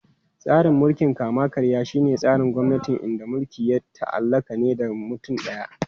Tsarin mulkin kama-karya shine tsarin gwamnati inda mulki ya ta'allaka ne da mutum daya.